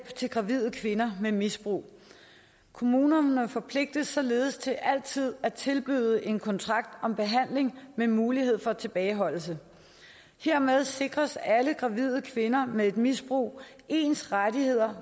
til gravide kvinder med misbrug kommunerne forpligtes således til altid at tilbyde en kontrakt om behandling med mulighed for tilbageholdelse hermed sikres alle gravide kvinder med et misbrug ens rettigheder